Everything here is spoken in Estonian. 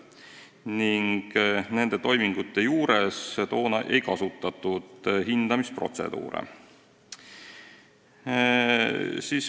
Toona nende toimingute puhul hindamisprotseduure ei kasutatud.